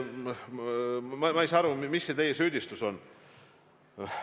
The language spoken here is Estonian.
Ma ei saa aru, mis see teie süüdistus on.